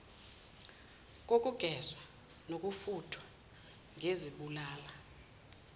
kokugezwa nokufuthwa ngezibulala